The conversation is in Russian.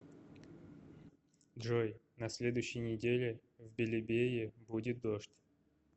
джой на следующей неделе в белебее будет дождь